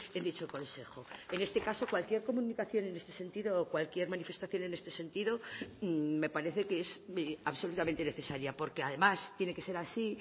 en dicho consejo en este caso cualquier comunicación en este sentido o cualquier manifestación en este sentido me parece que es absolutamente necesaria porque además tiene que ser así